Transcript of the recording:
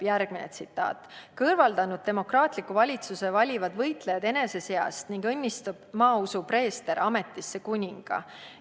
" Järgmine tsitaat: "Kõrvaldanud demokraatliku valitsuse, valivad võitlejad enese seast ning õnnistab maausu preester ametisse kuninga.